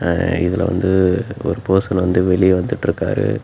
ஆ இதுல வந்து ஒரு பர்சன் வந்து வெளிய வந்துட்டுருக்காரு.